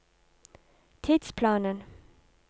tidsplanen